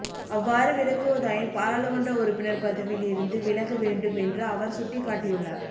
அவ்வாறு விலகுவதாயின் பாராளுமன்ற உறுப்பினர் பதவியில் இருந்து விலக வேண்டும் என்று அவர் சுட்டிக்காட்டியுள்ளார்